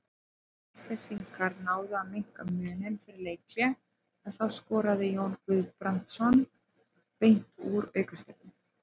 Selfyssingar náðu að minnka muninn fyrir leikhlé en þá skoraði Jón Guðbrandsson beint úr aukaspyrnu.